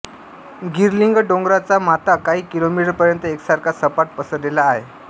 गिरलिंग डोंगराचा माथा काही किलोमीटर पर्यंत एकसारखा सपाट पसरलेला आहे